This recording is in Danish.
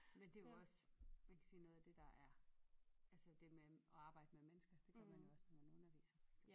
Men det jo også kan man sige noget af det der er altså det med at arbejde med mennesker det gør man jo også når man underviser for eksempel